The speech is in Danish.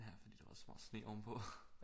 Ja fordi der var så meget sne ovenpå